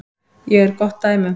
Ég er gott dæmi um það.